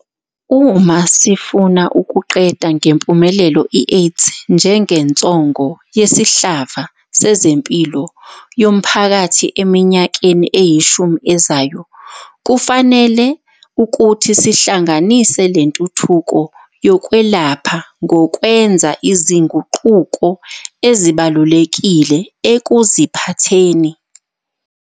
Uma sifuna ukuqeda ngempumelelo i-AIDS njengensongo yesihlava sezempilo yomphakathi eminyakeni eyishumi ezayo, kufanele ukuthi sihlanganise le ntuthuko yokwelapha ngokwenza izinguquko ezibalulekile ekuziphatheni.